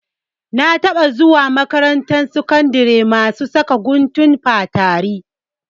Na taɓa zuwa makarantar sakandari masu saka guntun fatari.